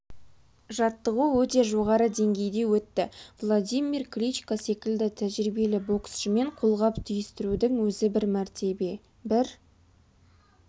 жаттығу өте жоғары деңгейде өтті владимир кличко секілді тәжірибелі боксшымен қолғап түйістірудің өзі бір мәртебе бір